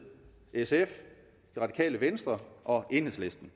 sf det radikale venstre og enhedslisten